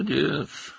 Sən əlaqəsən,